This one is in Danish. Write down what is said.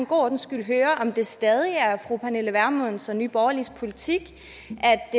god ordens skyld høre om det stadig er fru pernille vermunds og nye borgerliges politik